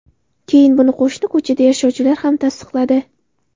Keyin buni qo‘shni ko‘chada yashovchilar ham tasdiqladi.